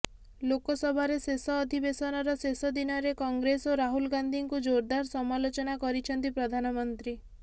ଲୋକସଭାରେ ଶେଷ ଅଧିବେସନର ଶେଷ ଦିନରେ କଂଗ୍ରେସ ଓ ରାହୁଲ ଗାନ୍ଧୀଙ୍କୁ ଜୋରଦାର ସମାଲୋଚନା କରିଛନ୍ତି ପ୍ରଧାନମନ୍ତ୍ରୀ